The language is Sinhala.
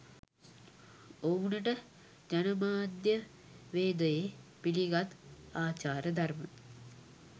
ඔවුනට ජනමාධ්‍යවේදයේ පිළිගත් ආචාර ධර්ම